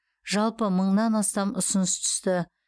жалпы мыңнан астам ұсыныс түсті